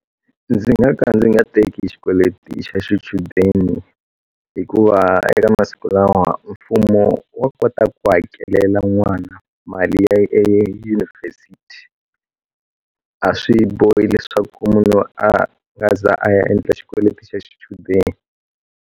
Ndzi nga ka ndzi nga teki xikweleti xa xichudeni hikuva eka masiku lawa mfumo wa kota ku hakelela n'wana mali ya edyunivhesiti a swi bohi leswaku munhu a nga ze a ya endla xikweleti xa xichudeni.